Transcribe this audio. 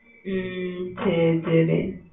ஹம் ஹம் ஹம் சரி சரி